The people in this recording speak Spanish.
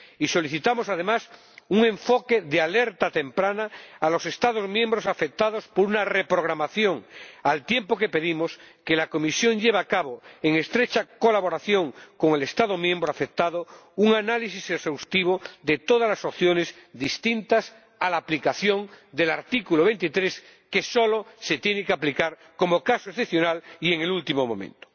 Y solicitamos, además, un enfoque de alerta temprana a los Estados miembros afectados por una reprogramación, al tiempo que pedimos que la Comisión lleve a cabo, en estrecha colaboración con el Estado miembro afectado, un análisis exhaustivo de todas las opciones distintas a la aplicación del artículo 23, que solo se tiene que aplicar como caso excepcional y en el último momento.